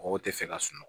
Mɔgɔw tɛ fɛ ka sunɔgɔ